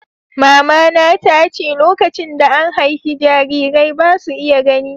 Mamana ta ce "Lokacin da an haifi jarirai, ba' su iya gani."